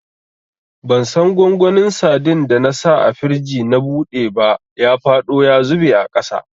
Bansan gwangwanin sadin da na sa a firij na buɗe ba, ya faɗo ya zube a ƙasa.